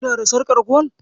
Kina da sarƙar gwal?